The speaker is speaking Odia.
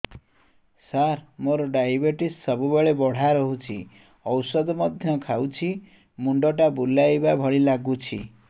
ସାର ମୋର ଡାଏବେଟିସ ସବୁବେଳ ବଢ଼ା ରହୁଛି ଔଷଧ ମଧ୍ୟ ଖାଉଛି ମୁଣ୍ଡ ଟା ବୁଲାଇବା ଭଳି ଲାଗୁଛି